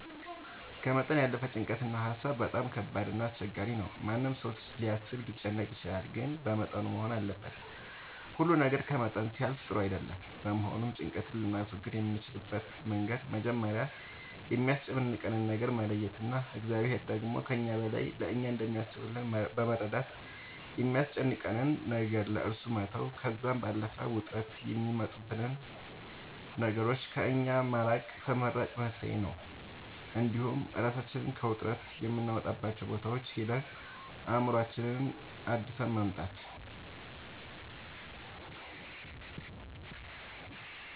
ከመጠን ያለፈ ጭንቀት እና ሀሳብ በጣም ከባድ እና አስቸጋሪ ነው ማንም ሰው ሊያስብ ሊጨነቅ ይችላል ግን በመጠኑ መሆን አለበት ሁሉ ነገር ከመጠን ሲያልፍ ጥሩ አይደለም በመሆኑም ጭንቀት ልናስወግድ የምንችልበት መንገድ መጀመሪያ የሚያስጨንቀንን ነገር መለየት እና እግዚአብሔር ደግሞ ከእኛ በላይ ለእኛ እንደሚያስብልን በመረዳት የሚያስጨንቀንን ነገር ለእሱ መተው ከዛም ባለፈ ውጥረት የሚያመጡብንን ነገሮች ከእኛ ማራቅ ተመራጭ መፍትሄ ነው እንዲሁም እራሳችንን ከውጥረት የምናወጣባቸው ቦታዎች ሄደን አእምሮአችንን አድሰን መምጣት